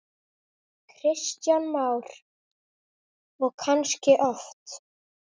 Kristján Már: Og kannski oft?